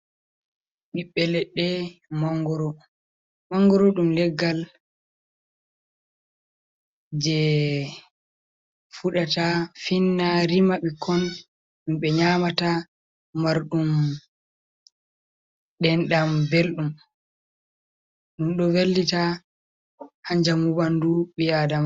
Bibbe ledde mangoru dum leggal je fudata finna rima bikkon dum be nyamata, maru dendam beldum dendum do vallita ha jamu bandu biadama.